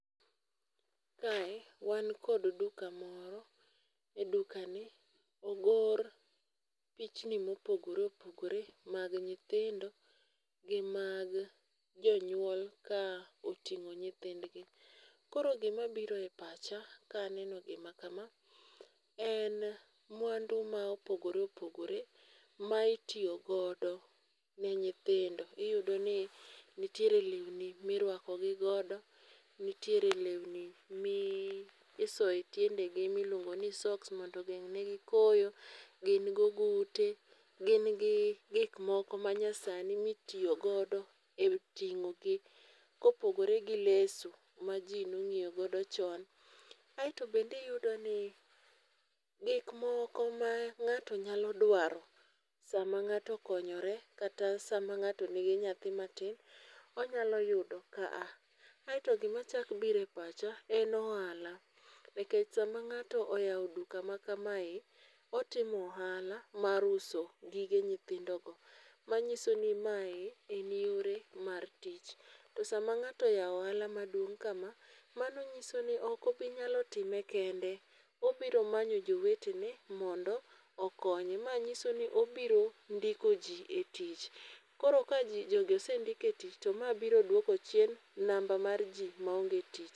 Kae wan kod duka moro, e duka ni ogor pichni ma opogore opogore gi nyithindo, gi mag jonyuol ka otingo nyithindgi koro gi ma biro e pacha ka aneno gi ma kama en mwandu ma opogore opogore ma itiyo godo en nyithindo iyudo ni nitiere lewni ma irwako gi godo ,nitiere lewni mi isoyo e tiende gi mi iluongo ni soks mondo ogeng ne gi koyo, gin gi ogute, gin gi gik moko ma itiyo go ma nyasani mi itiyo godo e tingo gi ka opogore gi leso ma ji ne ong'iyo godo chon. Aito bende iyud ni gik moko ma ng'ato nyalo duaro saa ma ng'ato okonyore kata saa ma ng'ato ni gi nyathi ma tin onyalo yudo ka. Aito gi ma chak biro e pacha en ohala ,nikech saa ma ng'ato oyawo duka ma kamae otimo e ohala mar uso gige nyithindo go ma nyiso ni ma e yore mag tich to saa ma ng'ato ochako ohala ma duong kama a mano ng'iso ni ok obi nyalo time kende ,ibiro manyo jowete gi mondo okonye. Ma nyiso ni obiro ndiko ji e tich. Koro ka ji jogi osendik e tich to ma biro duoko chien namba mar ji ma onge tich.